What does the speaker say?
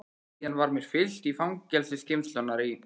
Síðan var mér fylgt í fangageymslurnar í